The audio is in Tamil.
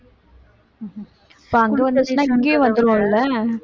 இப்ப அங்க வந்துச்சுன்னா இங்கேயும் வந்துரும்ல